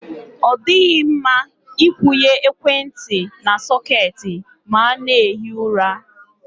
Ọ dịghị mma Ị kwụnye ekwentị na sọketi ma a na-ehi ụra.